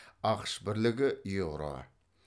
ақш бірлігі еуро